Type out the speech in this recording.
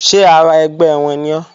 Ṣé ara ẹgbẹ́ wọn ni ọ́?